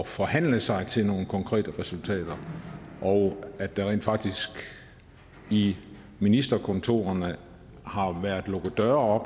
forhandle sig til nogle konkrete resultater og at der rent faktisk i ministerkontorerne har været lukket døre